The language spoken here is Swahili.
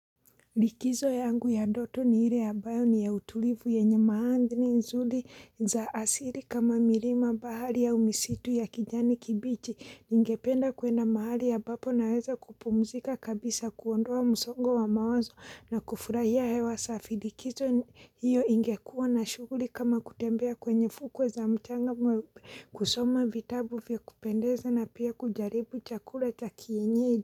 Likizo yangu ya ndoto ni ile ya ambayo ni ya utulivu yenye maadini nzuri za asili kama mirima bahari au misitu ya kijani kibichi ningependa kwenda mahali ambapo naweza kupumzika kabisa kuondoa msongo wa mawazo na kufurahia hewa safi. Likizo hiyo ingekuwa na shuguri kama kutembea kwenye fuko za mchanga kusoma vitabu vya kupendeza na pia kujaribu chakura cha kienyei.